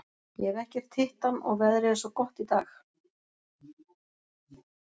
Ég hef ekkert hitt hann og veðrið er svo gott í dag.